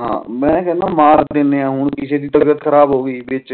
ਹਨ ਮੈਂ ਕਹਿੰਦਾ ਮਾਰ ਦੇਂਦੇ ਆ ਉ ਕਿਸੇ ਦੀ ਤਬੀਯਤ ਖਰਾਬ ਹੋਗੀ ਵਿਚ